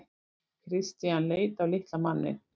Christian leit á litla manninn.